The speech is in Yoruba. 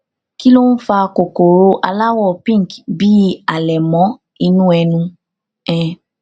kí ló ń fa kòkòrò aláwọ pink bíi àlẹmọ inú ẹnu um